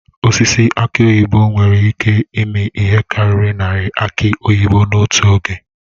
Osisi aki oyibo nwere ịke ịmi ihe karịrị narị aki oyibo n'otu oge.